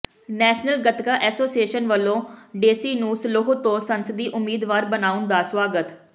national Gatka association ਵੱਲੋਂ ਢੇਸੀ ਨੂੰ Slough ਤੋਂ ਸੰਸਦੀ ਉਮੀਦਵਾਰ ਬਣਾਉਣ ਦਾ ਸਵਾਗਤ